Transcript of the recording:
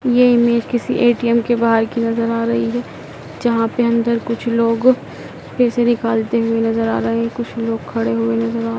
यह इमेज किसी ए_टी_एम के बाहर की नजर आ रही है। जहां पर अंदर कुछ लोग पैसे निकालते हुए नजर आ रहे हैं। कुछ लोग खड़े हुए नजर आ रहे--